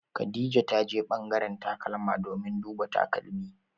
Khadija ta je ɓangaren takalma domin duba takalmi.